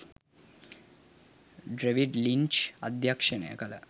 David Lynch අධ්‍යක්ෂණය කළ